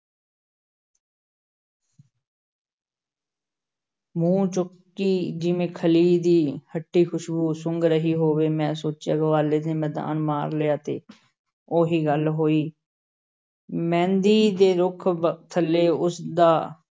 ਮੂੰਹ ਚੁੱਕੀ ਜਿਵੇਂ ਖਲ਼ੀ ਦੀ ਖੱਟੀ ਖ਼ੁਸ਼ਬੂ ਸੁੰਘ ਰਹੀ ਹੋਵੇ, ਮੈਂ ਸੋਚਿਆ ਗਵਾਲੇ ਨੇ ਮੈਦਾਨ ਮਾਰ ਲਿਆ ਤੇ ਉਹੀ ਗੱਲ ਹੋਈ ਮਹਿੰਦੀ ਦੇ ਰੁੱਖ ਬ~ ਥੱਲੇ ਉਸ ਦਾ